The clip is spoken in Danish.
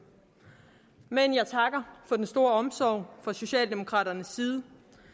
men jeg takker for den store omsorg fra socialdemokraternes side